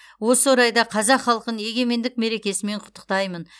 осы орайда қазақ халқын егемендік мерекесімен құттықтаймын